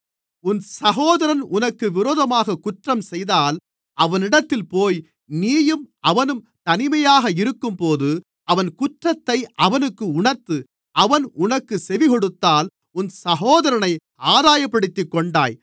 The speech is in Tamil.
உன் சகோதரன் உனக்கு விரோதமாகக் குற்றம் செய்தால் அவனிடத்தில் போய் நீயும் அவனும் தனிமையாக இருக்கும்போது அவன் குற்றத்தை அவனுக்கு உணர்த்து அவன் உனக்குச் செவிகொடுத்தால் உன் சகோதரனை ஆதாயப்படுத்திக்கொண்டாய்